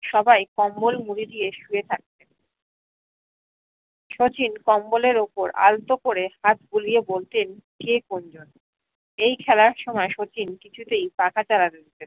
সবাই কম্বল মুরি দিয়ে শুয়ে থাকতেন শচীন কম্বলের উপর আলতো করে হাত বুলিয়ে বলতেন কে কোন জন এই খেলার সময় শচীন কিছুতেই চালাতে দিতেন চালাতে না